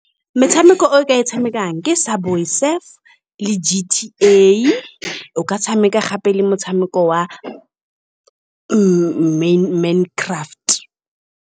Metshameko e o ka e tshamekang ke sa le G_T_A o ka tshameka gape le motshameko wa Mine Craft.